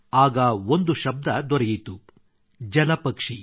ಆಗ ಒಂದು ಶಬ್ದ ದೊರೆಯಿತು ಜಲಪಕ್ಷಿ